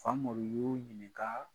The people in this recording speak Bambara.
Famori y'u ɲininka